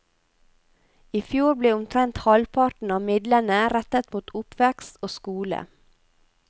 I fjor ble omtrent halvparten av midlene rettet mot oppvekst og skole.